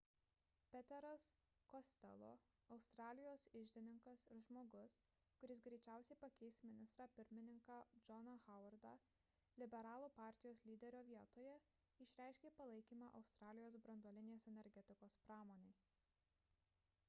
peteras costello australijos iždininkas ir žmogus kuris greičiausiai pakeis ministrą pirmininką johną howardą liberalų partijos lyderio vietoje išreiškė palaikymą australijos branduolinės energetikos pramonei